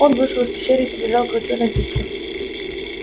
он вышел из пещеры и побежал к ручью напиться